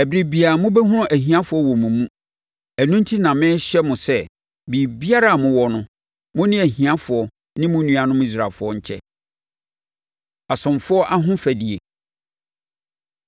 Ɛberɛ biara, mobɛhunu ahiafoɔ wɔ mo mu. Ɛno enti na merehyɛ mo sɛ, biribiara a mowɔ no, mo ne ahiafoɔ ne mo nuanom Israelfoɔ nkyɛ. Asomfoɔ Ahofadie